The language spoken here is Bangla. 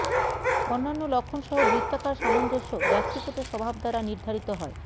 অন্যান্য লক্ষণ সহ বৃত্তাকার সামঞ্জস্য ব্যক্তিগত স্বভাব দ্বারা নির্ধারিত হয়